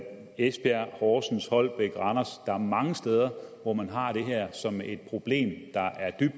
esbjerg horsens holbæk og randers der er mange steder hvor man har det her problem